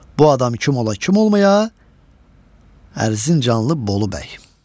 Bu adam kim ola, kim olmaya, Ərzincanlı Bolu bəy.